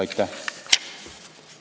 Aitäh!